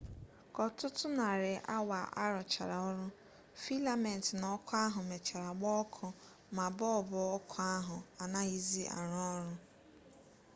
ka ọtụtụ narị awa a rụchara ọrụ filament na ọkụ ahụ mechara gbaa ọkụ ma bọlbụ ọkụ ahụ anaghịzi arụ ọrụ